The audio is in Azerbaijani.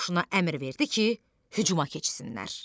Qoşuna əmr verdi ki, hücuma keçsinlər.